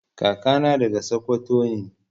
Kaka na daga sakwato ne.